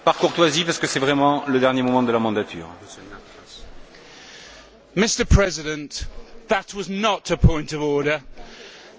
Mr President, that was not a point of order and most of it was rubbish.